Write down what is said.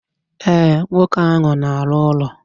E, nwoke ahụ na arụ ụlọ.